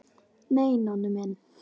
Nei, Nonni minn.